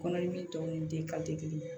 Kɔnɔdimi tɔ ni den ka te kelen ye